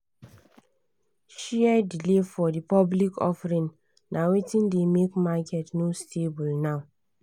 share delay for the public offering na wetin dey make market no stable now.